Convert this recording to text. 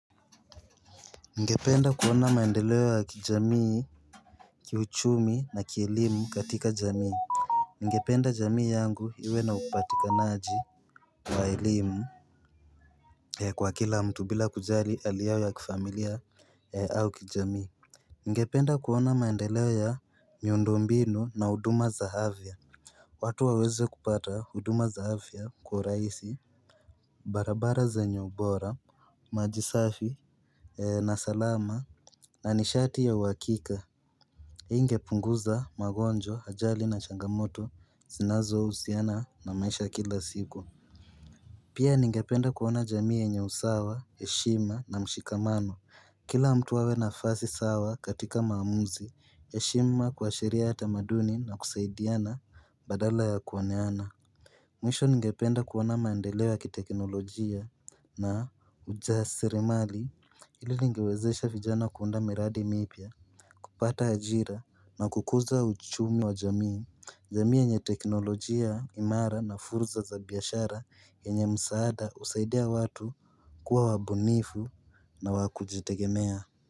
Ningependa kuona maendeleo ya kijamii, kiuchumi na kielimu katika jamii. Ningependa jamii yangu iwe na upatikanaji wa elimu Kwa kila mtu bila kujali hali yao ya kifamilia au kijamii. Ningependa kuona maendeleo ya miundombinu na huduma za afya watu waweze kupata huduma za afya kwa rahisi barabara zenye ubora maji safi na salama na nishati ya uhakika Ingepunguza magonjwa ajali na changamoto zinazohusiana na maisha kila siku Pia ningependa kuona jamii yenye usawa, heshima na mshikamano Kila mtu awe nafasi sawa katika maamuzi, heshima kwa sheria ya tamaduni na kusaidiana badala ya kuoneana Mwisho ningependa kuona maendeleo ya kiteknolojia na ujasirimali Hili lingewezesha vijana kuunda miradi mipya, kupata ajira na kukuza uchumi wa jamii. Jamii yenye teknolojia imara na fursa za biashara yenye msaada husaidia watu kuwa wabunifu na wa kujitegemea.